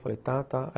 Falei, tá, tá.